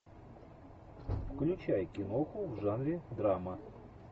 включай киноху в жанре драма